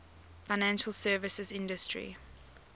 financial services industry